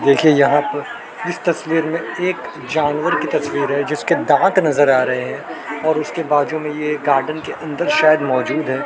देखिए यहां पर इस तस्वीर में एक जानवर की तस्वीर है जिसके दांत नजर आ रहे है और उसके बाजू में ये गार्डन के अंदर शायद मौजूद है।